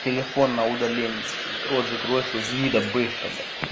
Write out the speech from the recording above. телефон на удаление стоит рот закрой свой гнида быстро блять